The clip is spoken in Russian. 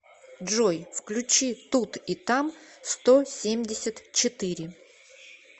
джой включи тут и там сто семьдесят четыре